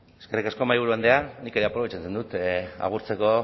eskerrik asko mahaiburu andrea nik ere aprobetxatzen dut agurtzeko